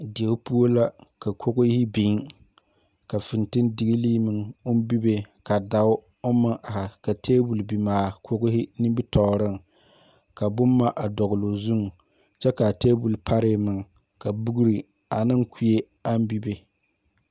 Deɛ pou la ka kɔgri bing ka fintindiglii meng ɔn bibe ka daa arẽ ka tabol bingee kɔgri nimitoɔring ka buma a dɔgloo zung kye ka a tabol paree meng ka bokri ne kuree ang bibe.